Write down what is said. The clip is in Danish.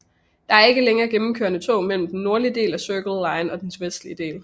Der er ikke længere gennemkørende tog mellem den nordlige del af Circle line og dens vestlige del